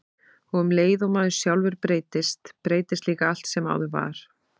Og um leið og maður sjálfur breytist, breytist líka allt sem áður var.